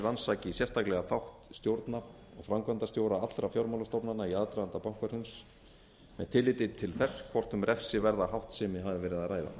rannsaki sérstaklega þátt stjórna og framkvæmdastjórna allra fjármálastofnana í aðdraganda bankahruns með tilliti til þess hvort um refsiverða háttsemi hafi verið að